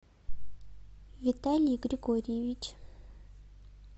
виталий григорьевич